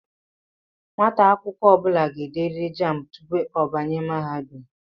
Nwata akwukwo obula ga-ederiri jámbu tupu o banye mahadum